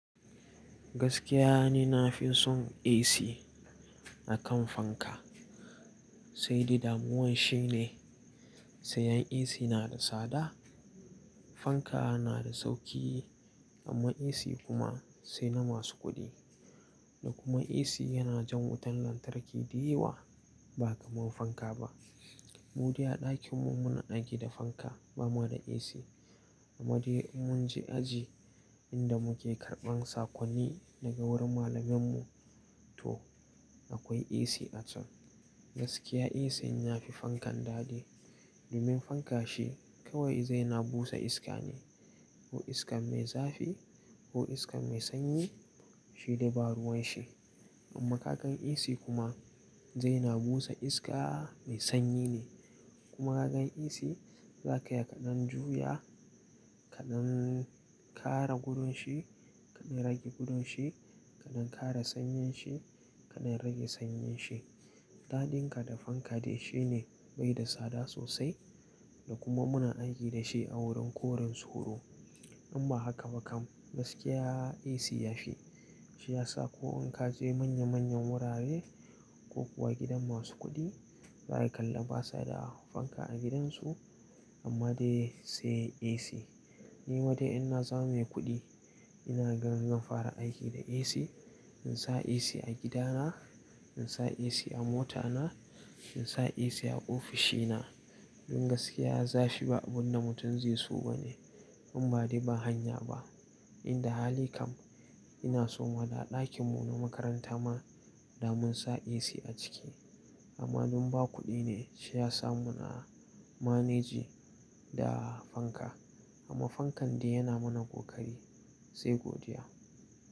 Gaskiya ne na fi son AC a kan fanka, sai dai damuwan shi ne, sayan AC na da tsada. Fanka na da sauki amma AC kuma sai na masu kuɗi da kuma AC yana jan wutan lantarki da yawa ba kamar fanka ba. Mu dai a ɗakinmu muna aiki da fanka ba mu da AC, amma dai mun je aji inda muke karɓan sakonni daga wurin malaminmu to akwai AC a can gaskiya AC yafi fanka daɗi, domin fanka shi kawai zena busa iska ne, ko iskan me zafi ko iskan me sanyi shi dai baruwan shi. Amma kagan AC kuma zai na busa iska mai sanyi ne kuma kagan AC za ka iya kaɗan juya, kaɗan kara gudun shi, kaɗan rage gudun shi, kaɗan kara sanyin shi, kaɗan rage sanyin shi. Daɗin ka da fanka dai shi ne bai da tsada sosai da kuma muna aiki da shi a wurin koren sauro. In ba haka ba kam gaskiya AC ya fi. Shi ya sa ko in ka je manya manyan wurare ko kuwa gidan masu kuɗi, za ka kalla ba sai da fanka a gidansu amma dai sai AC. Ni ma dai in na zama mai kuɗi, ina ganin zan fara aiki da AC. In sa AC a gidana, in sa AC a motana, in sa AC a ofishina. Don gaskiya zafi ba abun da mutum zai so ba ne in ba dai ba hanya ba. Inda hali kam, ina so a dakin mu ba makaranta ma da mun sa AC aciki amma don ba kuɗi ne shi ya samu na manej da fanka. Amma fankan dai yana mana kokari sai godiya.